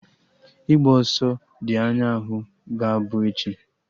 Ịgba ọsọ dị anya ahụ ga-abụ echi